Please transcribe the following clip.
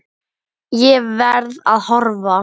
Ég verð að horfa.